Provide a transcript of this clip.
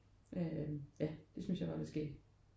Øh ja det synes jeg var lidt skægt